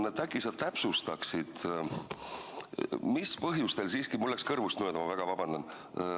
Aga äkki sa täpsustaksid, mis põhjustel siiski – mul läks kõrvust mööda, vabandust!